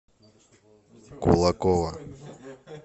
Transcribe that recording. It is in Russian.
кулакова